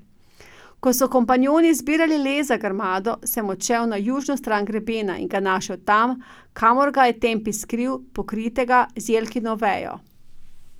Ko so kompanjoni zbirali les za grmado, sem odšel na južno stran grebena in ga našel tam, kamor ga je Tempi skril, pokritega z jelkino vejo.